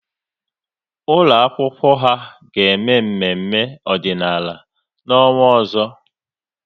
Ụlọ akwụkwọ ha ga-eme mmemme ọdịnala n'ọnwa ọzọ